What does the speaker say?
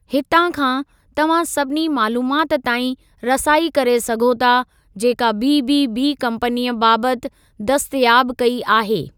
हितां खां, तव्हां सभिनी मालूमात ताईं रसाई करे सघो था जेका बीबीबी कम्पनीअ बाबति दस्तयाब कई आहे।